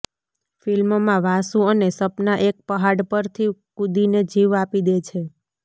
ફિલ્મમાં વાસુ અને સપના એક પહાડ પરથી કૂદીને જીવ આપી દે છે